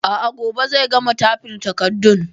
A'a, gobe zai gama tyfin takardun